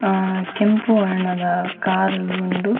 ಆ ಕೆಂಪು ವರ್ಣ ದ ಕಾರ್ ಲು ಉಂಡು.